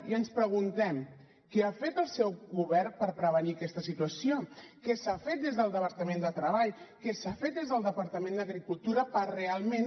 i ens preguntem què ha fet el seu govern per prevenir aquesta situació què s’ha fet des del departament de treball què s’ha fet des del departament d’agricultura per realment